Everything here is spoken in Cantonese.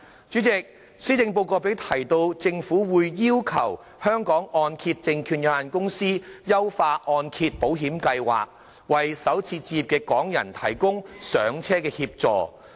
主席，施政報告亦提及政府會要求香港按揭證券有限公司優化按揭保險計劃，為首次置業的港人提供"上車"的協助。